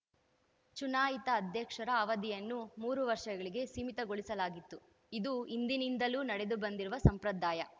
ಚುನಾಯಿತ ಅಧ್ಯಕ್ಷರ ಅವಧಿಯನ್ನು ಮೂರು ವರ್ಷಗಳಿಗೆ ಸೀಮಿತಗೊಳಿಸಲಾಗಿತ್ತು ಇದು ಹಿಂದಿನಿಂದಲೂ ನಡೆದು ಬಂದಿರುವ ಸಂಪ್ರದಾಯ